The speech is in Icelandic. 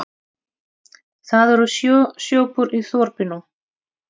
Það eru sjö sjoppur í þorpinu!